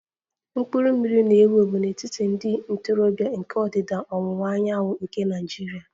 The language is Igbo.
Mkpụrụ mmiri na-ewu ewu n'etiti ndị ntorobịa nke ndịda ọwụwa anyanwụ nke Nigeria